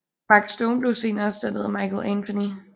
Mark Stone blev senere erstattet af Michael Anthony